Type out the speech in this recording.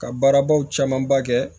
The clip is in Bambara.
Ka baarabaw camanba kɛ